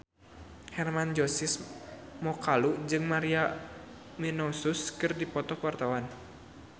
Hermann Josis Mokalu jeung Maria Menounos keur dipoto ku wartawan